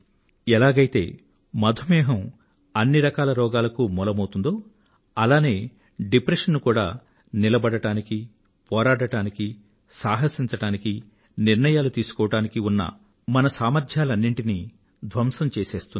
ఎలాగైతే మధుమేహం అన్నిరకాల రోగాలకూ మూలమౌతుందో అలానే డిప్రెషన్ కూడా నిలబడడానికీ పోరాడడానికీ సాహసించడానికీ నిర్ణయాలు తీసుకోవడానికీ ఉన్నమన మొత్తం సామర్థ్యాలనీ ధ్వంసం చేసేస్తుంది